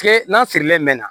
Kile n'a sirilen mɛ na